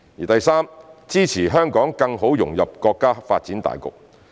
第三，支持香港更好融入國家發展大局。